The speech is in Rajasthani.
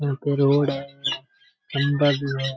यहां पे रोड़ है खंभा भी है।